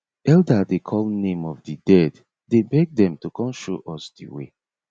elder dey call name of di dead dey beg dem to come show us the way